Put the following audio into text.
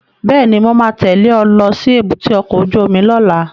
Bẹ́ẹ̀ni, mo ma tẹ́lẹ̀ ẹ lọ sí èbúté ọkọ̀ ojú omi lọ́la